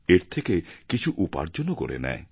এর থেকে কিছু উপার্জনও করে নেয়